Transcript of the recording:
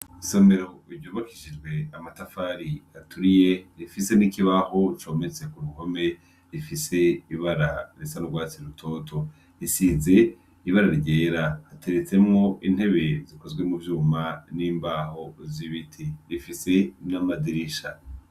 Isomero ryubakishijwe amatafari aturiye ,rifise n'ikibaho cometse ku ruhome rifise ibara risa nurwatsi rutoto, isize ibara ryera, hateretsemwo intebe zikozwe mu vyuma ,n'imbaho zibiti rifise n'amadirisha.